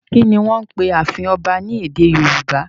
Kí ni wọ́n ń pe ààfin ọba ní èdè Yorùbá?